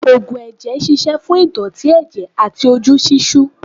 Ógùn ẹ̀jẹ̀ ṣíṣe fún ìdọ̀tí ẹ̀jẹ̀ àti ojú ṣíṣú.